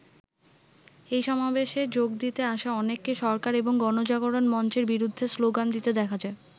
এই সমাবেশে যোগ দিতে আসা অনেককে সরকার এবং গণজাগরণ মঞ্চের বিরুদ্ধে শ্লোগান দিতে দেখা যায়।